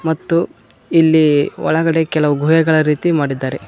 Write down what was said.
ಮತ್ತು ಇಲ್ಲಿ ಒಳಗಡೆ ಕೆಲವು ಗುಹೆಗಳ ರೀತಿ ಮಾಡಿದ್ದಾರೆ.